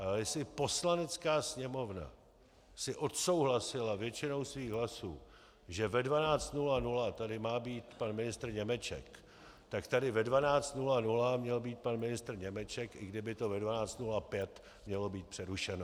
Ale jestli Poslanecká sněmovna si odsouhlasila většinou svých hlasů, že ve 12.00 tady má být pan ministr Němeček, tak tady ve 12.00 měl být pan ministr Němeček, i kdyby to ve 12.05 mělo být přerušeno.